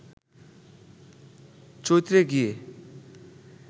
চৈত্রে গিয়ে